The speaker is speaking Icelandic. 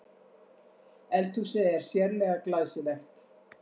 Eldhúsið er sérlega glæsilegt